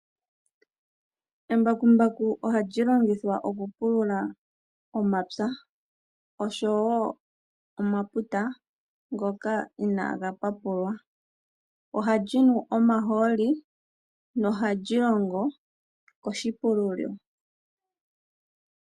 Embakumbaku ohali longithwa okupulula omapya oshowo omaputa ngoka inaaga papulwa, ohali nu omahooli nohali longo koshipululilo.